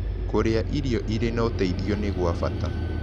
Kũrĩa irio ĩrĩ na ũteĩthĩo nĩ gwa bata